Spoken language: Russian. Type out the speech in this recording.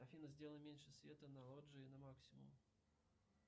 афина сделай меньше света на лоджии на максимум